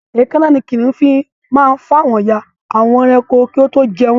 Èékánná ni kì kìnìún fi máa ń fa àwọn ya àwọn ẹranko kí ó tó jẹ wọ́n